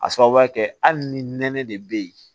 A sababuya kɛ hali ni nɛnɛ de be yen